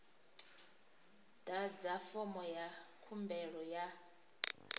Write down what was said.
ḓadza fomo ya khumbelo ya